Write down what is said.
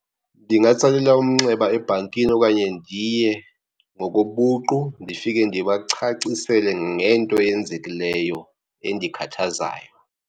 Ndingatsalela umnxeba ebhankini okanye ndiye ngokobuqu, ndifike ndibacacisele ngento eyenzekileyo endikhathazayo.